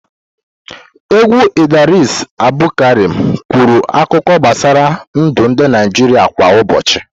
Egwu Idris Abdulkarim kwuru akụkọ gbasara ndụ ndị Naịjirịa kwa ụbọchị.